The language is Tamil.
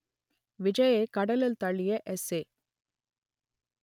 விஜய்யை கடலில் தள்ளிய எஸ்ஏ